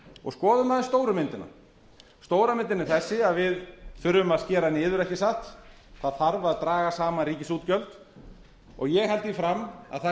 og skoðum aðeins stóru myndina stóra myndin er þessi að við þurfum að skera niður ekki satt það þarf að draga saman ríkisútgjöld ég held því fram að það